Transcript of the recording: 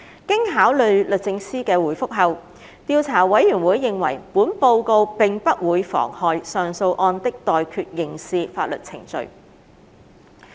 經考慮律政司的回覆後，調查委員會認為本報告並不會妨害上訴案的待決刑事法律程序。